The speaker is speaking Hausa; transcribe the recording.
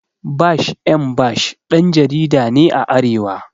Bash M Bash ɗan jarida ne a arewa